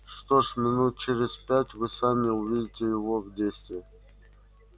что ж минут через пять вы сами увидите его в действии